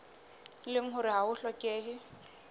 leng hore ha ho hlokehe